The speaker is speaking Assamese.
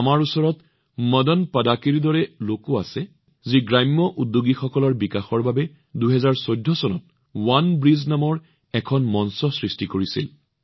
আমাৰ ওচৰত মদন পাড়াকীৰ দৰে লোক আছে যিয়ে গ্ৰাম্য উদ্যোগীসকলক উৎসাহিত কৰিবলৈ ২০১৪ চনত ৱানব্ৰীজ নামৰ এখন প্লেটফৰ্ম সৃষ্টি কৰিছিল